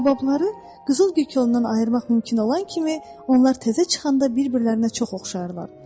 Baobabları qızıl gülkondan ayırmaq mümkün olan kimi onlar təzə çıxanda bir-birlərinə çox oxşayırlar.